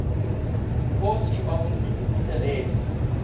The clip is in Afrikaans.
inkosi mangosuthu buthelezi